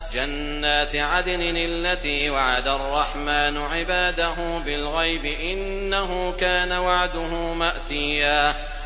جَنَّاتِ عَدْنٍ الَّتِي وَعَدَ الرَّحْمَٰنُ عِبَادَهُ بِالْغَيْبِ ۚ إِنَّهُ كَانَ وَعْدُهُ مَأْتِيًّا